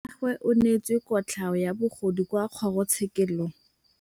Rragwe o neetswe kotlhaô ya bogodu kwa kgoro tshêkêlông.